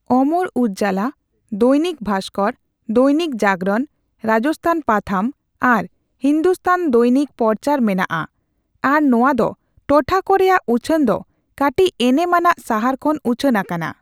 ᱚᱢᱚᱨ ᱩᱡᱵᱞᱟ, ᱫᱚᱭᱱᱤᱠ ᱵᱷᱟᱥᱠᱚᱨ, ᱫᱚᱭᱱᱤᱠ ᱡᱟᱜᱚᱨᱚᱱ, ᱨᱟᱡᱥᱛᱷᱟᱱ ᱯᱟᱛᱷᱟᱢ ᱟᱨ ᱦᱤᱱᱫᱩᱥᱛᱷᱟᱱ ᱫᱚᱭᱱᱤᱠ ᱯᱚᱨᱪᱟᱨ ᱢᱮᱱᱟᱜᱼᱟ ᱟᱨ ᱱᱚᱣᱟ ᱫᱚ ᱴᱚᱴᱷᱟ ᱠᱚ ᱨᱮᱭᱟᱜ ᱩᱪᱷᱳᱱ ᱫᱚ ᱠᱟᱹᱴᱤᱡ ᱮᱱᱮᱢ ᱟᱱᱟᱜ ᱥᱟᱦᱟᱨ ᱠᱷᱚᱱ ᱩᱪᱷᱟᱱ ᱟᱠᱟᱱᱟ ᱾